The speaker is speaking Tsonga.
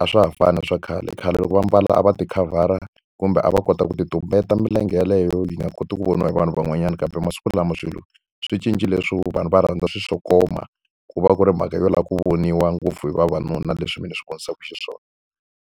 A swa ha fani na swa khale, khale loko va ambala a va ti khavhara, kumbe a va kota ku ti tumbeta milenge yeleyo yi nga koti ku voniwa hi vanhu van'wanyana. Kambe masiku lama swilo swi cincile leswo vanhu va rhandza swi xo koma, ku va ku ri mhaka yo lava ku voniwa ngopfu hi vavanuna leswi mina swi vonisaka xiswona.